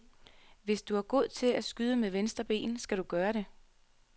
Hvis du er god til at skyde med venstre ben, skal du gøre det.